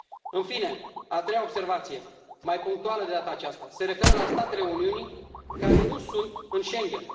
În fine, a treia observație, mai punctuală de data aceasta, se referă la statele Uniunii care nu sunt în Schengen.